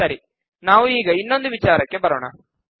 ಸರಿ ನಾವು ಈಗ ಇನ್ನೊಂದು ವಿಚಾರಕ್ಕೆ ಬರೋಣ